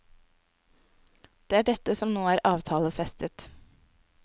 Det er dette som nå er avtalefestet.